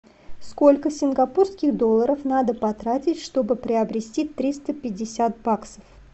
сколько сингапурских долларов надо потратить чтобы приобрести триста пятьдесят баксов